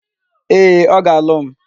Ee, ọ ga-alụ m.